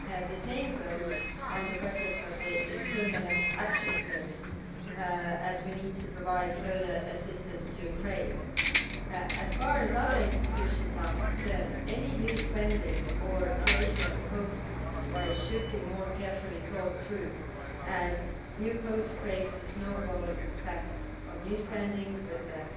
The same goes for the budget of the External Action Service, as we need to provide further assistance to Ukraine. As far as other institutions are concerned, any new spending or creation of posts should be more carefully thought through, as new posts create a snowball effect of new spending with